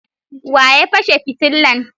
wa ya fashe fitillan?